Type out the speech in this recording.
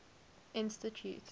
institute